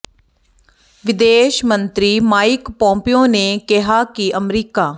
ਵਿਦੇਸ਼ ਮੰਤਰੀ Mike Pompeo ਨੇ ਕਿਹਾ ਹੈ ਕਿ ਅਮਰੀਕਾ